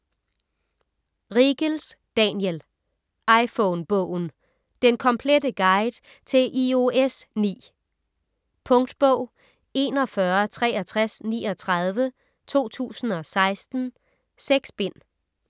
Riegels, Daniel: iPhone-bogen: den komplette guide til iOS 9 Punktbog 416339 2016. 6 bind.